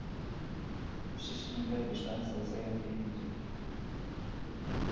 Systkinin héldust enn þá þegjandi í hendur.